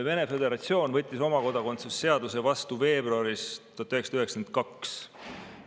Vene föderatsioon võttis oma kodakondsuse seaduse vastu veebruaris 1992.